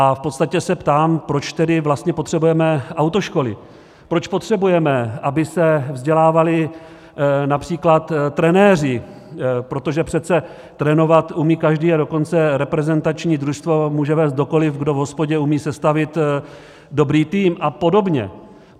A v podstatě se ptám, proč tedy vlastně potřebujeme autoškoly, proč potřebujeme, aby se vzdělávali například trenéři, protože přece trénovat umí každý, a dokonce reprezentační družstvo může vést kdokoliv, kdo v hospodě umí sestavit dobrý tým, a podobně.